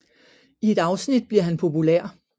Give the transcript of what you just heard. I et afsnit bliver han populær